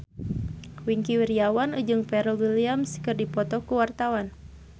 Wingky Wiryawan jeung Pharrell Williams keur dipoto ku wartawan